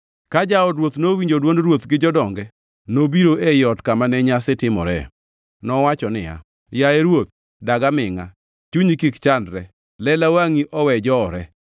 Ka jaod ruoth nowinjo dwond ruoth gi jodonge, nobiro ei ot kama ne nyasi timore. Nowacho niya, “Yaye ruoth, dag amingʼa! Chunyi kik chandre! Lela wangʼi owe jowore!